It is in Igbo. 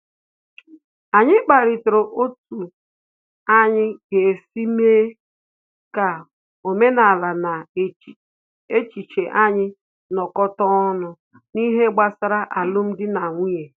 Anyị kparịtara otu anyị ga-esi mee ka omenala na echiche anyị nọ́kọta ọnụ n'ihe gbasara alum dị na nwunye